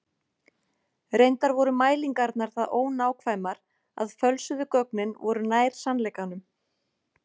Reyndar voru mælingarnar það ónákvæmar að fölsuðu gögnin voru nær sannleikanum.